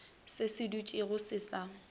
se se dutšego se sa